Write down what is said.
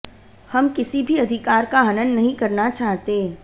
हम किसी भी अधिकार का हनन नहीं करना चाहते